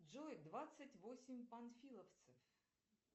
джой двадцать восемь панфиловцев